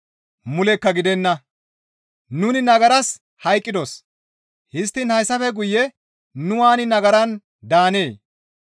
Mulekka gidenna; nuni nagaras hayqqidos; histtiin hayssafe guye nu waani nagaran daanee?